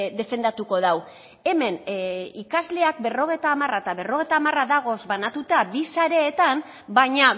defendatuko du hemen ikasleak berrogeita hamara eta berrogeita hamara dagoz banatuta bi sareetan baina